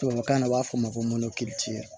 Tubabukan na u b'a fɔ ma ko